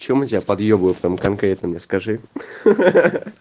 что мы тебя подъебываем там конкретно мне скажи